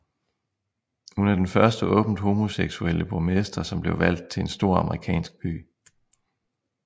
Hun er den første åbent homoseksuelle borgmester som blev valgt til en stor amerikansk by